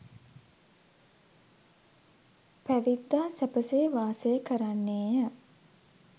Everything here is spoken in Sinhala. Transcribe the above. පැවිද්දා සැපසේ වාසය කරන්නේය.